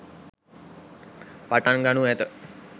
පටන් ගනු ඇත.